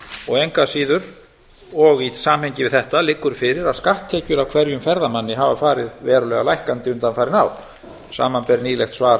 og engu að síður og í samhengi við þetta liggur fyrir að skatttekjur af hverjum ferðamanni hafa farið verulega lækkandi undanfarin ár samanber nýlegt svar